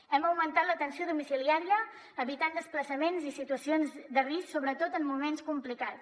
hem augmentat l’atenció domiciliària i hem evitat desplaçaments i situacions de risc sobretot en moments complicats